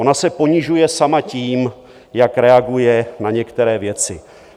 Ona se ponižuje sama tím, jak reaguje na některé věci.